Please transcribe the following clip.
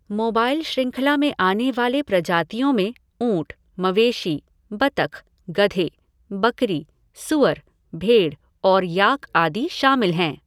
Mobile श्रंखला में आने वाली प्रजातियों में ऊँट, मवेशी, बत्तखे, गधे, बकरी, सूअर, भेड़ और याक आदि शामिल हैं।